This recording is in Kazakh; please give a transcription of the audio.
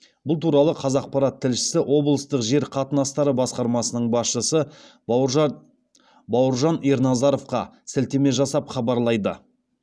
бұл туралы қазақпарат тілшісі облыстық жер қатынастары басқармасының басшысы бауыржан ерназаровқа сілтеме жасап хабарлайды